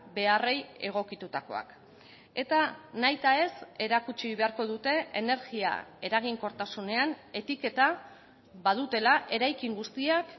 beharrei egokitutakoak eta nahita ez erakutsi beharko dute energia eraginkortasunean etiketa badutela eraikin guztiak